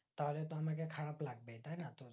তাহলে তো আমাকে খারাপ লাগবেই তাই না